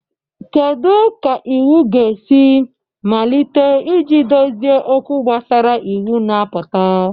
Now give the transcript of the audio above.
Kedu ka iwu ga-esi malite iji dozie okwu gbasara iwu na-apụta?